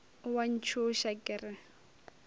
o a ntšhoša ke re